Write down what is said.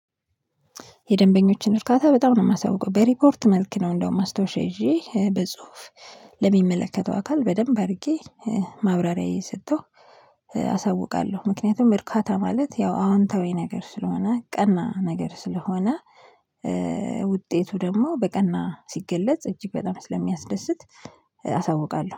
የደንበኞችን እርካታ በጣም ነው የማሳውቀው በሪፖርት መልክ ነው እንደውም ማስተውሼ ይዤ በጽሁፍ ለሚመለከተው አካል በደንብ አድርጌ ማብራሪያ እየስጠው። አሳውቃለሁ ምክንያቱም እርካታ ማለት ያው አዎንታዊ ነገር ስለሆነ ቀና ነገር ስለሆነ። ውጤቱ ደግሞ በቀና ሲገለጽ እጅግ በጣም ስለሚያስደስት። አሳውቃለሁ